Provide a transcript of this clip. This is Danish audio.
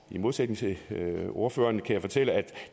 i modsætning til ordføreren kan jeg fortælle at